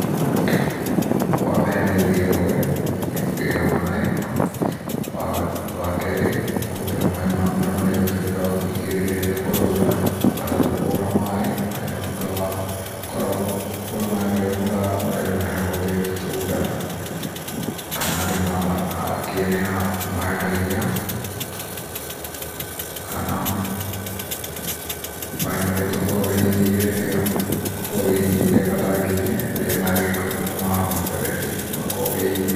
Wa mbere nĩ gũthiĩ rũĩ, gũthiĩ kũgĩra maaĩ. Wa keerĩ nĩ kũhũthĩra maaĩ ma mbura marĩa ũhingĩrĩirie rĩrĩa kũraura. Wa gatatũ kũgũra maaĩ ma mbura marĩa uhingĩrĩire maaĩ marĩa marehagũo nĩ bunda, kana andũ arĩa makĩendagia. Kana maaĩ marĩa ũkoragwo wĩigĩire gatangi-inĩ rĩrĩa kwĩna maaĩ ma mũberethi. ũgakorwo wĩigĩire.